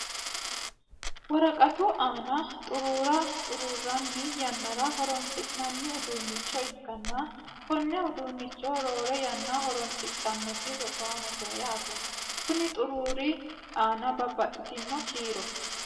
woraqatu aana xuruura xuruuranni yannara horonsi'nanni uduunnicho ikkanna, konne uduunnichono roore yanna horonsidhannoti rosaanote yaate. konni xuruuri aana babbaxitino kiiro